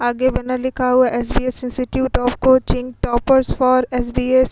आगे बना लिखा हुआ SBS. Institute of coaching toppers for SBS --